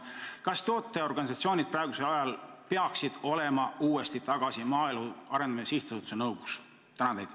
Kas tootjaorganisatsioonid peaksid praegusel ajal olema uuesti tagasi Maaelu Arendamise Sihtasutuse nõukogus?